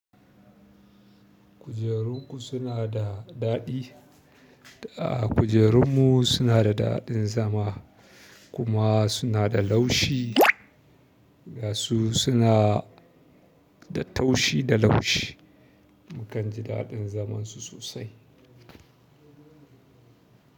Kujerun ku suna da daɗi. A kujerunmu suna da daɗin zama kuma suna da laushi. Ga su suna da taushi da laushi. Mukan ji daɗin zaman su sosai.